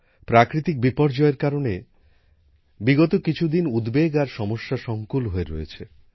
প্রাকৃতিক বিপর্যয়ের কারণে গত কিছু দিন উদ্বেগ আর সমস্যাসঙ্কুল হয়ে রয়েছে